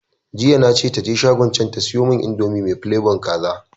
Jiya na ce taje shagon can ta siyomun indomi mai flabon kaza